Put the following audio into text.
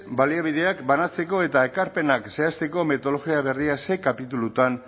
baliabideak banatzeko eta ekarpenak zehazteko metodologia berria sei kapitulutan